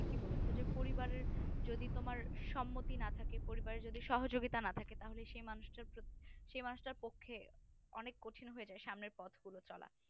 ঠিক ই বলেছো পরিবারের যদি তোমার সম্মতি না থাকে পরিবারের যদি সহযোগিতা না থাকে তাহলে সেই মানুষ টা সেই মানুষ টার পক্ষে অনেক কঠিন হয়ে যায় সামনের পথ গুলো চলা